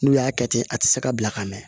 N'u y'a kɛ ten a tɛ se ka bila ka mɛn